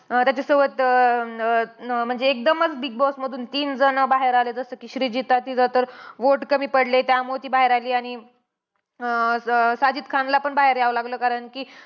अं त्याच्यासोबत अं अं म्हणजे एकदमचं बिगबॉस मधून तीन जणं बाहेर आले. जसं कि श्रीजीता तिला तर vote कमी पडले. त्यामुळे ती बाहेर आली. आणि अं साजिद खान ला पण बाहेर यावं लागलं. कारण कि